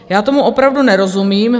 Já tomu opravdu nerozumím.